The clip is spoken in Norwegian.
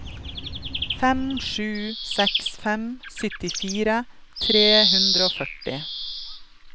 fem sju seks fem syttifire tre hundre og førti